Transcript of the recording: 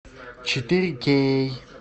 четыре кей